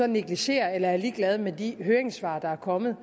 negligerer eller er ligeglad med de høringssvar der er kommet